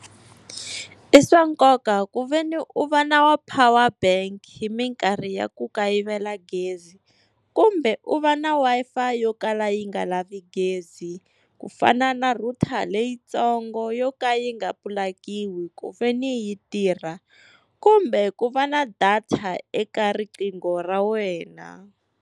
I swa nkoka ku veni u va na wa power bank hi minkarhi ya ku kayivela gezi, kumbe u va na Wi-Fi yo kala yi nga lavi gezi, ku fana na router leyitsongo yo ka yi nga pulakiwi ku veni yi tirha. Kumbe ku va na data eka riqingho ra wena.